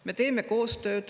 Me teeme koostööd.